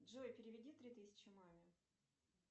джой переведи три тысячи маме